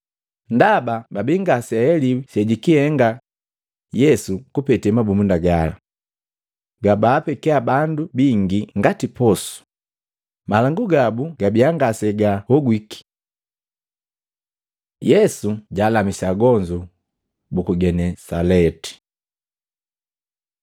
ndaba babi ngaseaheliwi sejikihenga Yesu kupete mabumunda gala. Gabaapekiya bandu bingi ngati posu, malangu gabu gabia ngasegahogwiki. Yesu jaalamisa agonzu buku Genesalati Matei 14:34-36